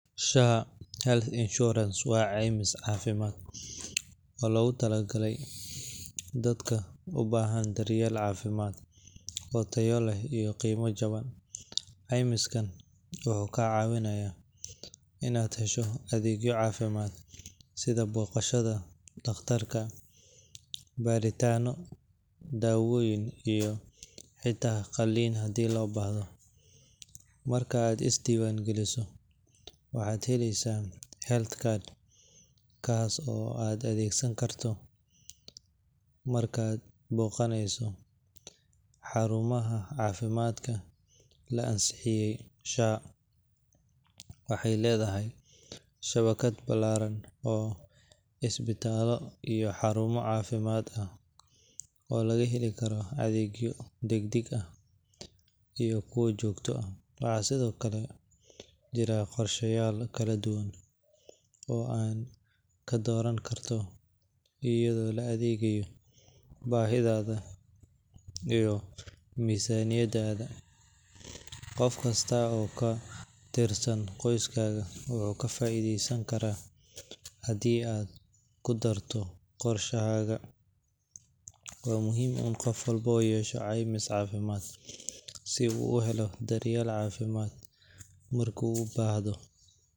SHA Health Insurance waa caymis caafimaad oo loogu talagalay dadka u baahan daryeel caafimaad oo tayo leh iyo qiime jaban. Caymiskan wuxuu kaa caawinayaa inaad hesho adeegyo caafimaad sida booqashada dhakhtarka, baaritaanno, daawooyin, iyo xitaa qalliin haddii loo baahdo. Marka aad isdiiwaangeliso, waxaad helaysaa health card kaas oo aad adeegsan karto markaad booqanayso xarumaha caafimaadka la ansixiyay. SHA waxay leedahay shabakad ballaaran oo isbitaallo iyo xarumo caafimaad ah oo laga heli karo adeegyo degdeg ah iyo kuwa joogto ah. Waxaa sidoo kale jira qorshayaal kala duwan oo aad ka dooran karto, iyadoo la eegayo baahidaada iyo miisaaniyaddaada. Qof kasta oo ka tirsan qoyskaaga wuu ka faa'iidaysan karaa haddii aad ku darto qorshahaaga. Waa muhiim in qof walba yeesho caymis caafimaad si uu u helo daryeel caafimaad marka uu u baahdo.